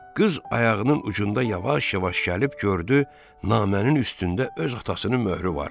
Qız ayağının ucunda yavaş-yavaş gəlib gördü, namənin üstündə öz atasının möhrü var.